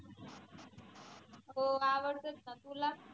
हो आवडतोच ना तुला?